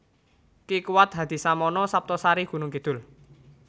Ki Kuwat Hadisamono Saptosari Gunungkidul